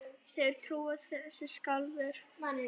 Þeir trúa þessu sjálfir